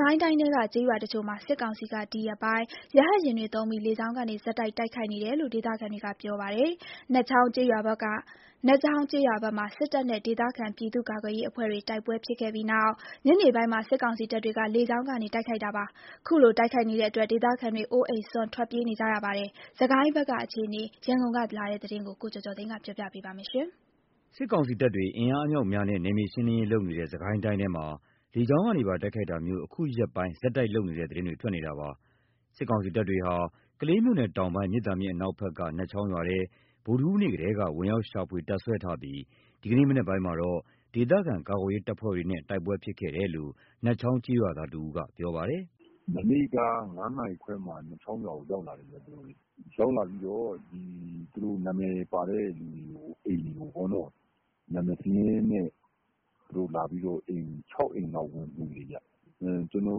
ကိုင်းတိုင်းထဲက ကျေးရွာတချို့မှာ စစ်ကောင်စီက ဒီရက်ပိုင်း ရဟတ်ယာဉ်တွေသုံးပြီး လေကြောင်းကနေ ဆက်တိုက် တိုက်ခိုက်နေတယ်လို့ ဒေသခံတွေကပြောပါတယ်။ နတ်ချောင်းကျေးရွာဘက်မှာ စစ်တပ်နဲ့ ဒေသခံပြည်သူ့ကာကွယ်ရေးအဖွဲ့တွေ တိုက်ပွဲဖြစ်ခဲ့ပြီးနောက် ညနေပိုင်းမှာ စစ်ကောင်စီတပ်တွေက လေကြောင်းကနေ တိုက်ခိုက်တာပါ။ ခုလိုတိုက်ခိုက်နေတဲ့အတွက် ဒေသခံတွေ အိုးအိမ်စွန့် ထွက်ပြေးနေကြရပါတယ်။ စစ်ကိုင်းဘက်ကအခြေအနေ ရန်ကုန်ကလာတဲ့သတင်းကို ကိုကျော်ကျော်သိန်းက တင်ပြပေးထားပါတယ်။ စစ်ကောင်စီတပ်တွေ အင်အားအမြောက်အများနဲ့နယ်မြေရှင်းလင်းရေးလုပ်နေတဲ့ စစ်ကိုင်းတိုင်းထဲမှာ လေကြောင်းကနေပါ တိုက်ခိုက်တာမျိုး အခုရက်ပိုင်း ဆက်တိုက်လုပ်နေတဲ့သတင်းတွေ ထွက်နေတာပါ။ စစ်ကောင်စီတပ်တွေဟာ ကလေးမြို့နယ်တောင်ပိုင်း မြစ်သာမြစ်အနောက်ဘက်က နတ်ချောင်းရွာထဲ ဗုဒ္ဓဟူးနေ့ကတည်းက ဝင်ရောက်ရှာဖွေ တပ်စွဲထားပြီး ဒီကနေ့မနက်ပိုင်းမှာတော့ ဒေသခံကာကွယ်ရေးတပ်ဖွဲ့တွေနဲ့ တိုက်ပွဲဖြစ်ခဲ့တယ်လို့ နတ်ချောင်း ကျေးရွာသားတဦးက ပြောပါတယ်။ “မနေ့က ၅ နာရီခွဲလောက်မှာ နတ်ချောင်းရွာကို ရောက်လာတယ်။ ရောက်လာပြီးတော့ သူတို့ နာမည်ပါတဲ့သူတွေကို အိမ်တွေကို နာမည်စာရင်းနဲ့လာပြီးတော့ အိမ် ၆ အိမ်လောက် ဝင်မွှေတယ်။ ကျနော်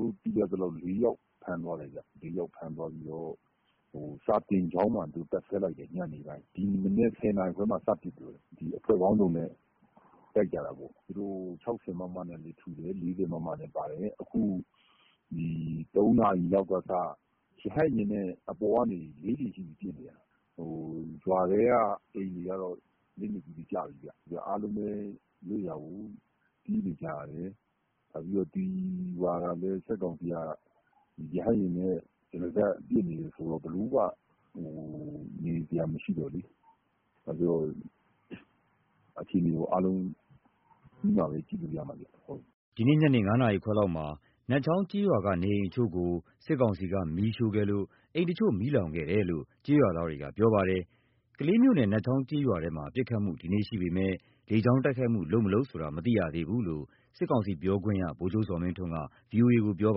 တို့သိရသလောက် ၄ ယောက်ဖမ်းသွားတယ်။ ၄ ယောက်ဖမ်းသွားပြီးတော့ စာသင်ကျောင်းမှာ တပ်စွဲလိုက်တယ်။ ညနေပိုင်းမှာ။ ဒီမနက် ၁၀ နာရီခွဲမှာ စပစ်တယ်။ အဖွဲ့ပေါင်းစုံနဲ့ တိုက်ကြတာပေါ့။ သူတို့ ၆၀ မမနဲ့လည်းထုတယ်။ ၄၀ မမလည်းပါတယ်။ အခု ၃ နာရီလောက်က ရဟတ်ယာဉ်နဲ့ ၄ ကြိမ်ရှိပြီ ပစ်နေတာ။ ရွာထဲကအိမ်တွေက လက်နက်ကြီးတွေကျပြီခင်ဗျ။ အားလုံးလည်း လွတ်ရာကို ပြေးနေကြရတယ်။ နောက်ပြီးတော့ ဒီရွာကလည်း စစ်ကောင်စီက ရဟတ်ယာဉ်နဲ့ တရစပ်ပစ်နေတာဆိုတော့ ဘယ်သူမှ မနေရဲကြတော့ဘူးလေ။ နောက်ပြီးတော့ အခြေအနေက အားလုံးပြီးမှပဲ ကြည့်လို့ရမှာ။” ဒီနေ့ ညနေ ၅ နာရီခွဲလောက်မှာနတ်ချောင်းကျေးရွာက နေအိမ်အချို့ကို စစ်ကောင်စီက မီးရှို့ခဲ့လို့ အိမ်တချို့ မီးလောင်ခဲ့တယ်လို့ ကျေးရွာသားတွေက ပြောပါတယ်။ ကလေးမြို့နယ် နတ်ချောင်းကျေးရွာထဲမှာ ပစ်ခတ်မှု ဒီနေ့ရှိပေမယ့် လေကြောင်းတိုက်ခိုက်မှုတွေ လုပ်မလုပ် ဆိုတာ မသိရသေးဘူးလို့စစ်ကောင်စီပြောခွင့်ရ ဗိုလ်ချုပ်ဇော်မင်းထွန်းက ဗွီအိုအေကို ပြော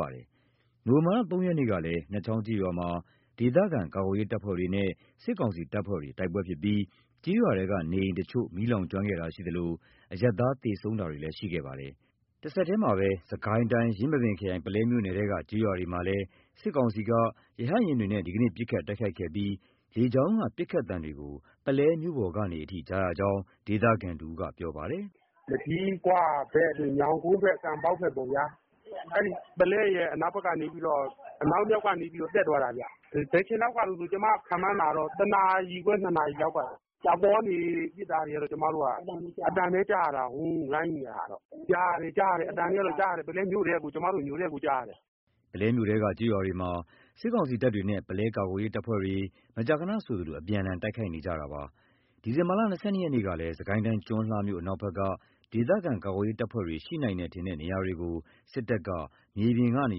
ပါတယ်။ နိုဝင်ဘာလ ၃ ရက်နေ့ကလည်း နတ်ချောင်းကျေးရွာမှာ ဒေသခံကာကွယ်ရေးတပ်ဖွဲ့တွေနဲ့ စစ်ကောင်စီတပ်ဖွဲ့တွေ တိုက်ပွဲဖြစ်ပြီး ကျေးရွာထဲက နေအိမ်တချို့ မီးလောင်ကျွမ်းခဲ့တာရှိသလို အရပ်သား သေဆုံးတာတွေလည်းရှိခဲ့ပါသေးတယ်။ တဆက်တည်း စစ်ကိုင်းတိုင်း ယင်းမာပင်ခရိုင် ပုလဲမြို့နယ်ထဲက ကျေးရွာတွေမှာလည်း စစ်ကောင်စီက ရဟတ်ယာဉ်တွေနဲ့ ဒီကနေ့ ဒီဇင်ဘာ ၂၃ ရက်မှာ ပစ်ခတ်တိုက်ခိုက်ခဲ့ပြီး လေကြောင်းက ပစ်ခတ်သံတွေကို ပုလဲမြို့ပေါ်ကနေအထိ ကြားရကြောင်း ဒေသခံတဦးက ပြောပါတယ်။ “မကျည်းခွဘက် ညောင်ကုန်းဘက် ကံပေါက်ဘက်ပေါ့။ ပုလဲရဲ့အနောက်မြောက်ကနေ တက်သွားတာ။ ဘယ်အချိန်လောက်ကလည်းဆို ကျမခန့်မှန်းတာ ၁ နာရီခွဲ ၂ နာရီခွဲလောက်က အပေါ်ကနေပစ်တာ ကျမတို့ အသံတွေပဲကြားရတယ်။ ပုလဲမြို့ထဲကို ကျမတို့ ပုလဲမြို့ထဲကို အသံတွေကြားနေရတယ်။” ပုလဲမြို့ထဲက ကျေးရွာတွေမှာ စစ်ကောင်စီတပ်တွေနဲ့ ပုလဲကာကွယ်ရေးတပ်ဖွဲ့တွေ မကြာခဏဆိုသလို အပြန်အလှန် တိုက်ခိုက်မှုတွေဖြစ်နေပါတယ်။ ဒီဇင်ဘာ ၂၂ ရက်နေ့ကလည်း စစ်ကိုင်းတိုင်း ကျွန်းလှမြို့ အနောက်ဘက်က ဒေသခံကာကွယ်ရေး တပ်ဖွဲ့တွေ ရှိနိုင်တယ်ထင်တဲ့နေရာတွေကို စစ်တပ်က မြေပြင်ကနေ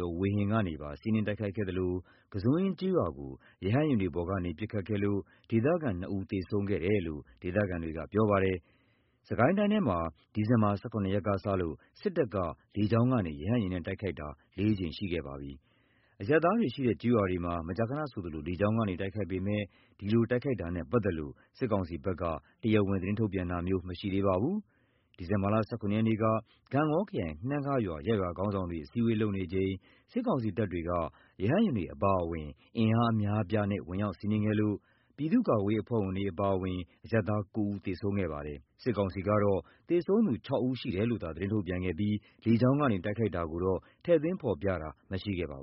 ရော ဝေဟင်ကနေပါ စီးနင်းတိုက်ခိုက်ခဲ့သလို ကန်းစွန်းအင်းကျေးရွာကို ရဟတ်ယာဉ်တွေပေါ်ကနေ ပစ်ခတ်ခဲ့လို့ ဒေသခံ နှစ်ဦး သေဆုံးခဲ့တယ်လို့ ဒေသခံတွေကပြောပါတယ်။ စစ်ကိုင်းတိုင်းထဲမှာ ဒီဇင်ဘာ ၁၇ ရက်ကစလို့စစ်တပ်က လေကြောင်းကနေ ရဟတ်ယာဉ်နဲ့ တိုက်ခိုက်တာ ၄ ကြိမ်ရှိခဲ့ပါပြီ။ အရပ်သားတွေရှိတဲ့ ကျေးရွာတွေမှာ မကြာခဏဆိုသလို လေကြောင်းကနေတိုက်ခိုက်ပေမယ့် ဒီလိုတိုက်ခိုက်တာနဲ့ပတ်သက်လို့ စစ်ကောင်စီဘက်က တရားဝင် သတင်းထုတ်ပြန်တာမရှိသေးပါဘူး။ ဒီဇင်ဘာ ၁၇ ရက်က ဂန့်ဂေါခရိုင် နှမ်းခါးရွာ ရပ်ရွာခေါင်းဆောင်တွေ အစည်းအဝေးလုပ်နေချိန်မှာ စစ်ကောင်စီတပ်တွေဟာ ရဟတ်ယာဉ်တွေအပါအဝင် အင်အားအများအပြားနဲ့ ဝင်ရောက်စီးနင်းခဲ့လို့ ပြည်သူ့ကာကွယ်ရေးအဖွဲ့ဝင်တွေအပါအဝင် အရပ်သား ၉ ဦးသေဆုံးခဲ့ပါတယ်။ စစ်ကောင်စီကတော့ သေဆုံးသူ ၆ ဦး ရှိတယ်လို့သာ သတင်းထုတ်ပြန်ခဲ့ပြီး လေကြောင်းကနေ တိုက်ခိုက်တာကိုတော့ ထည့်သွင်းဖော်ပြတာမရှိခဲ့ပါဘူး